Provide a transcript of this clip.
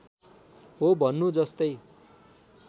हो भन्नु जस्तै